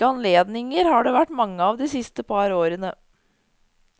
Slike anledninger har det vært mange av de siste par årene.